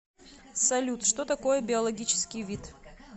салют что такое биологический вид